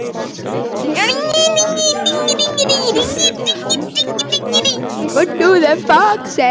Það var jú auðveldara en að vinna sjálfur.